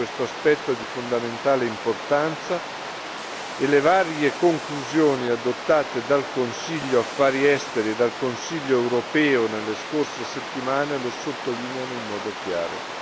Questo aspetto è di fondamentale importanza e le varie conclusioni adottate dal Consiglio Affari esteri e dal Consiglio europeo nelle scorse settimane lo sottolineano in modo chiaro.